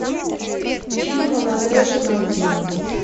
фильм молодая жена